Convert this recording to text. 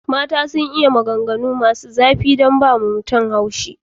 Mata sun iya maganganu masu zafi don su ba mutum haushi.